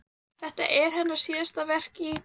Þetta er hennar síðasta verk í